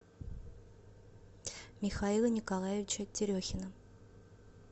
михаила николаевича терехина